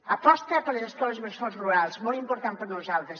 aposta per les escoles bressols rurals molt important per nosaltres